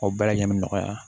O bɛɛ lajɛlen bi nɔgɔya